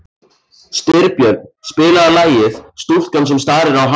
Styrbjörn, spilaðu lagið „Stúlkan sem starir á hafið“.